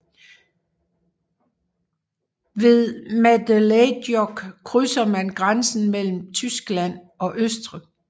Ved Mädelejoch krydser man grænsen mellem Tyskland og Østrig